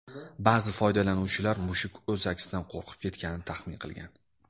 Ba’zi foydalanuvchilar mushuk o‘z aksidan qo‘rqib ketganini taxmin qilgan.